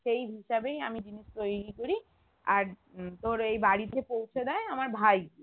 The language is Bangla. সেই হিসাবেই আমি জিনিস তৈরী করি আর উম তোর ওই বাড়িতে পৌঁছে দেয় আমার ভাই গিয়ে